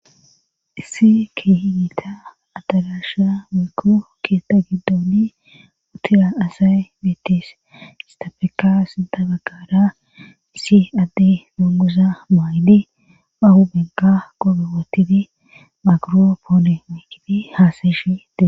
Issi ki higita atalasha miikko keetta giddooni utira asayy mittis istafeka sidabaggaara isi adde nunusa maaydi ahu benka gobe wotidi magoro poone meikini haasayishee